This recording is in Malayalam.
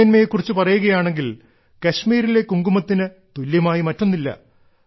ഗുണമേന്മയെ കുറിച്ചു പറയുകയാണെങ്കിൽ കശ്മീരിലെ കുങ്കുമത്തിന് തുല്യമായി മറ്റൊന്നില്ല